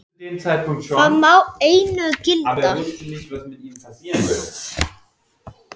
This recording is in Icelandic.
Það má einu gilda.